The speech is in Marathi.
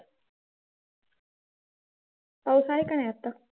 पाऊस आहे काय आता?